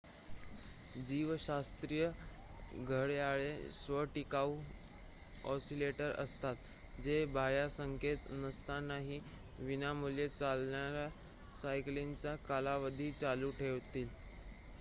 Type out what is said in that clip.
जीवशास्त्रीय घड्याळे स्व-टिकाऊ ऑसिलेटर असतात जे बाह्य संकेत नसतानाही विनामूल्य चालणार्‍या सायकलिंगचा कालावधी चालू ठेवतील